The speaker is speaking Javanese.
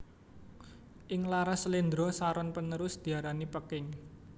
Ing laras slendro saron panerus diarani Peking